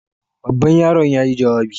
Babban yaron yayi jawabi.